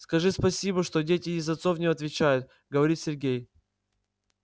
скажи спасибо что дети и за отцов не отвечают говорит сергей